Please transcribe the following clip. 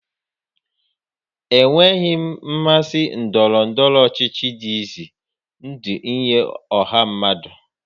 Enweghị mmasị ndọrọ ndọrọ ọchịchị dị ize ndụ nye ọha mmadụ.